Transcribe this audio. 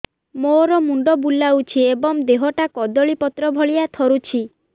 ମୋର ମୁଣ୍ଡ ବୁଲାଉଛି ଏବଂ ଦେହଟା କଦଳୀପତ୍ର ଭଳିଆ ଥରୁଛି